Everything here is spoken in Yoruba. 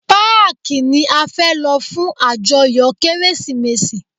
Páàkí ni a fẹ́ lọ fún ajoyo Kérésìmesì.